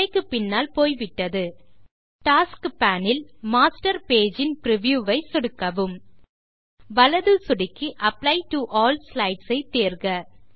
உரைக்கு பின்னால் போய்விட்டது டாஸ்க்ஸ் பேன் இல் மாஸ்டர் பேஜ் இன் பிரிவ்யூ ஐ சொடுக்கவும் வலது சொடுக்கி அப்ளை டோ ஆல் ஸ்லைட்ஸ் ஐ தேர்க